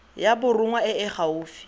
ya borongwa e e gaufi